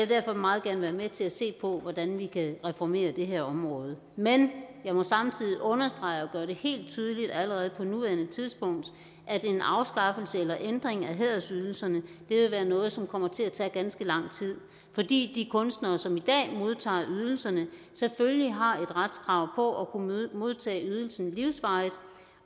derfor meget gerne være med til at se på hvordan vi kan reformere det her område men jeg må samtidig understrege og gøre det helt tydeligt allerede på nuværende tidspunkt at en afskaffelse eller ændring af hædersydelserne vil være noget som kommer til at tage ganske lang tid fordi de kunstnere som i dag modtager ydelserne selvfølgelig har et retskrav på at kunne modtage ydelsen livsvarigt